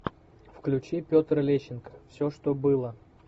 включи петр лещенко все что было